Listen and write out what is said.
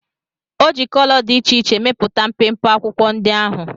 O ji kolo dị iche iche mepụta mpempe akwụkwọ ndị ahụ